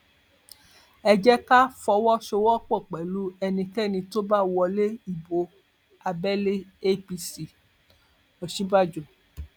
ẹ jẹ ká fọwọsowọpọ pẹlú ẹnikẹni tó bá wọlé ìbò abẹlé apc òsínbàjò